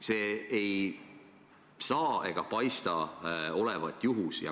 See ei saa olla ega paista olevat juhus.